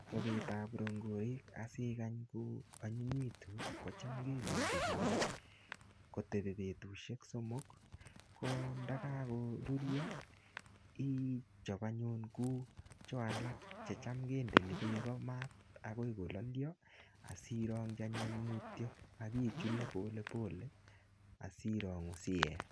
Chobet ab rongorik asikany koanyinyitu kocham kemindilili kotepi betutusiek somok ko ndakakorurio ichop anyunkou cho alak checham kendeni beek mat agoi kololio asirongji anyun mutyo ak ichule polepole asirangu asiye.